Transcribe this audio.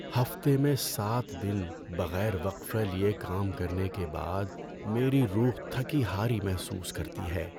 ہفتے میں سات دن بغیر وقفہ لیے کام کرنے کے بعد میری روح تھکی ہاری محسوس کرتی ہے۔